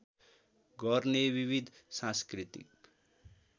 गर्ने विविध सांस्कृतिक